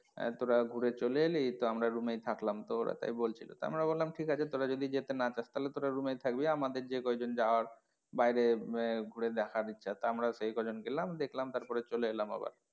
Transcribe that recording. আহ তোরা ঘুরে চলে এলি তো আমরা room এই থাকলাম তো ওরা তাই বলছিলো তো আমি বললাম ঠিক আছে তোরা যদি যেতে না চাস তাহলে তোরা room এই থাকবি আমাদের যেই কয়জন যাওয়ার বাইরে আহ ঘুরে দেখার ইচ্ছা তো আমরা সেই কয়জন গেলাম দেখলাম তারপরে চলে এলাম আবার।